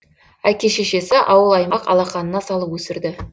әке шешесі ауыл аймақ алақанына салып өсірді